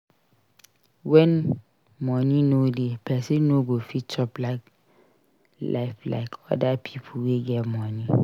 When money no dey person no go fit chop life like oda pipo wey get money